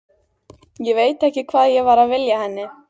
Ég veit ekki hvað ég var að vilja henni.